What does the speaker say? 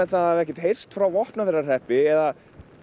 það hafi ekkert heyrst frá Vopnafjarðarhreppi eða